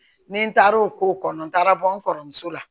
Ni n taara o ko kɔnɔ n taara bɔ n kɔrɔmuso la